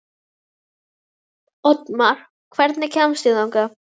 Oddmar, hvernig kemst ég þangað?